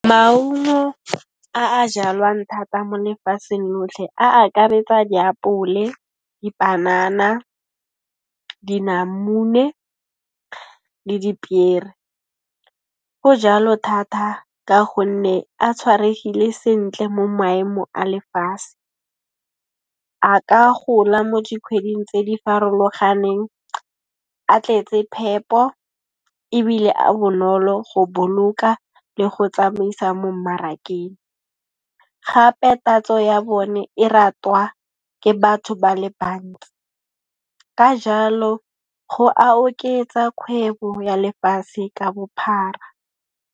Maungo a a jalwang thata mo lefatsheng lotlhe a akaretsa diapole, dipanana, dinamune le dipiere. Go jalo thatha ka gonne a tshwaregile sentle mo maemo a lefase. A ka gola mo dikhweding tse di farologaneng, a tletse phepo ebile a bonolo go boloka le go tsamaisa mo mmarakeng gape tatso ya bone e ratwa ke batho ba le bantsi. Ka jalo go a oketsa kgwebo ya lefase ka bophara.